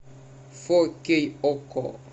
фокей окко